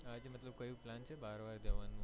આજે મતલબ કઈ plan છે બહાર વહાર જવાનો